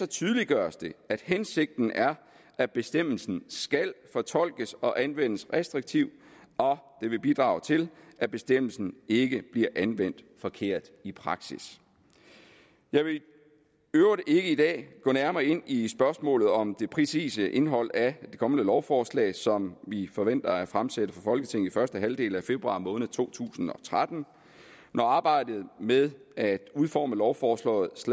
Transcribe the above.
tydeliggøres det at hensigten er at bestemmelsen skal fortolkes og anvendes restriktivt og det vil bidrage til at bestemmelsen ikke bliver anvendt forkert i praksis jeg vil i øvrigt ikke i dag gå nærmere ind i spørgsmålet om det præcise indhold af det kommende lovforslag som vi forventer at fremsætte for folketinget i første halvdel af februar måned to tusind og tretten når arbejdet med at udforme lovforslaget